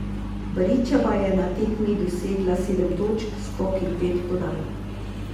Barićeva je na tekmi dosegla sedem točk, skok in pet podaj.